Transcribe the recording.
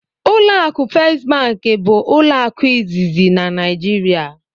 Ụlọ akụ first bụ ụlọ akụ izizi na Naijiria.